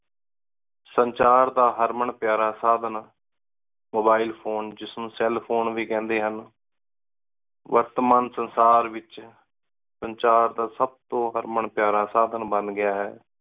ਸੰਚਾਰ ਦਾ ਹਰਮਨ ਪਯਾਰਾ ਸਾਧਨ mobile phone ਜਿਸ ਨੂ cell phone ਵੀ ਕੇਹੰਡੀ ਸਨ ਵਰਤਮਾਨ ਸੰਸਾਰ ਏਚ ਸੰਚਾਰ ਦਾ ਸਬ ਤੋ ਹਰਮਨ ਪਯਾਰਾ ਸਾਧਨ ਬਣ ਗਯਾ ਆਯ